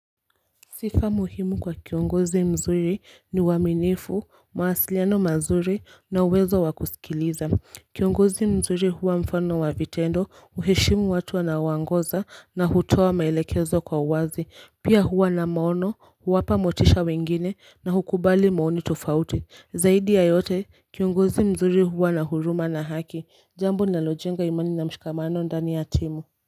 Sifa muhimu kwa kiongozi mzuri ni uaminifu mawasiliano mazuri na uwezo wakusikiliza Kiongozi mzuri huwa mfano wa vitendo uheshimu watu anawaongoza na hutoa maelekezo kwa uwazi pia huwa na maono huwapa motisha wengine na hukubali maoni tofauti Zaidi ya yote kiongozi mzuri huwa na huruma na haki jambo ninalojenga imani na mshikamano ndani ya timu.